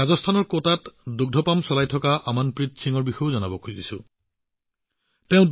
ৰাজস্থানৰ কোটাত দুগ্ধ পাম চলাই থকা অমনপ্ৰীত সিঙৰ বিষয়েও আপোনালোকে নিশ্চয় জানে